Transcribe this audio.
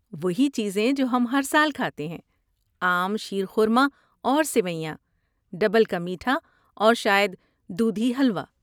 وہی چیزیں جو ہم ہر سال کھاتے ہیں۔ عام شیر خورما اور سیویاں، ڈبل کا میٹھا اور شاید دودھی حلوہ۔